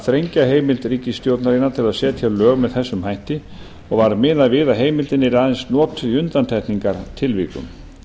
þrengja heimild ríkisstjórnarinnar til þess að setja lög með þessum hætti og var miðað við að heimildin yrði aðeins notuð í undantekningartilvikum